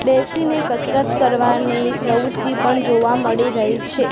બેસીને કસરત કરવાની પ્રવુત્તિ પણ જોવા મળી રહી છે.